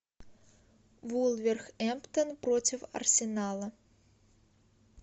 вулверхэмптон против арсенала